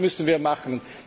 Und das müssen wir machen.